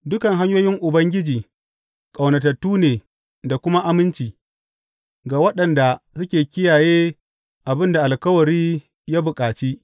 Dukan hanyoyin Ubangiji ƙaunatattu ne da kuma aminci ga waɗanda suke kiyaye abin da alkawari ya bukaci.